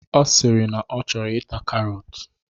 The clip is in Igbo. Ọ sịrị na ọ chọrọ ita karọt.